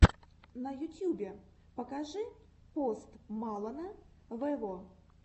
на ютьюбе покажи пост малона вево